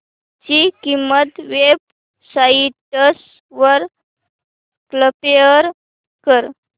ची किंमत web sites वर कम्पेअर कर